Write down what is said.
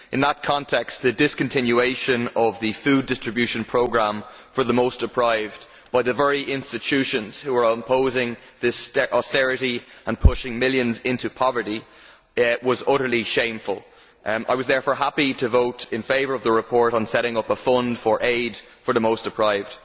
In that context the discontinuation of the food distribution programme for the most deprived by the very institutions that are opposing this austerity and pushing millions into poverty was utterly shameful. I was therefore happy to vote in favour of the report on setting up a fund for aid for the most deprived.